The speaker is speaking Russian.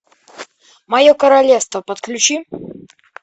мое королевство подключи